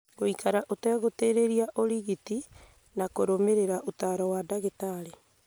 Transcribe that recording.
Gũikara ũtegũtĩrĩria ũrigiti na kũrũmĩrĩra ũtaaro wa ndagĩtarĩ